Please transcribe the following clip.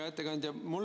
Hea ettekandja!